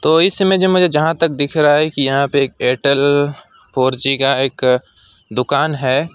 तो इस समय जब मुझे जहां तक दिख रहा है कि यहां पर एक एयरटेल फोर जी का एक दुकान है।